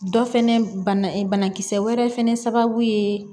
Dɔ fɛnɛ banakisɛ wɛrɛ fɛnɛ sababu ye